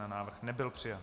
Návrh nebyl přijat.